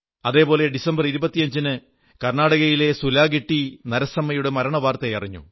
അതേപോലെ ഡിസംബറി 25 ന് കർണാടകയിലെ സുലാഗിട്ടി നരസമ്മയുടെ മരണവാർത്തയറിഞ്ഞു